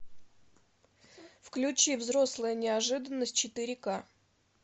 включи взрослая неожиданность четыре ка